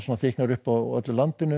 þykknar upp á öllu landinu